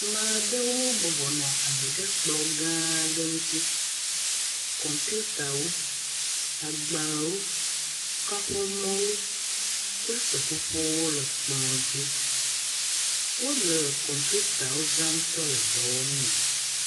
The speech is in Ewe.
Maɖewo bɔbɔ nɔ anyi ɖe kplɔ gã aɖe ŋuti. Kɔmpitawo, agbalẽwo, kaƒomɔwo kple seƒoƒowo le kplɔa dzi. Wole kɔmpitawo zam le dɔwɔm mee.